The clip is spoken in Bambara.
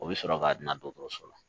O bɛ sɔrɔ k'a dan dɔgɔtɔrɔso la